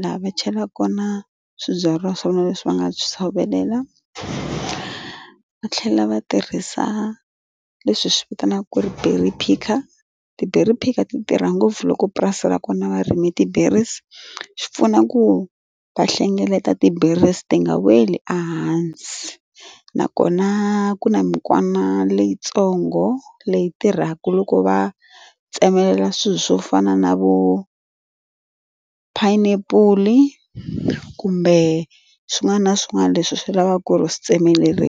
laha va chelaka kona swibyariwa swa vona leswi va nga tshovelela, va tlhela va tirhisa leswi hi swi vitanaka ku ri berry picker. Ti-berry picker ti tirha ngopfu loko purasi ra kona va rime ti-berries. Swi pfuna ku va hlengeleta ti-berries ti nga weli ehansi. Nakona ku na mikwana leyintsongo leyi tirhaka loko va tsemelela swilo swo fana na vo pineapple-i kumbe swin'wana na swin'wana leswi u swi lava ku ri swi tsemeleriwa.